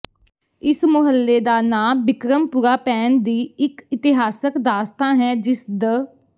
ਇਸ ਮੁਹੱਲੇ ਦਾ ਨਾਂ ਬਿਕਰਮਪੁਰਾ ਪੈਣ ਦੀ ਇਕ ਇਤਿਹਾਸਕ ਦਾਸਤਾਂ ਹੈ ਜਿਸ ਦ